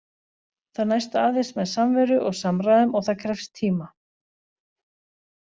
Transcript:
Það næst aðeins með samveru og samræðum- og það krefst tíma.